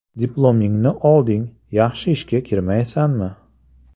Diplomingni olding, yaxshi ishga kirmaysanmi?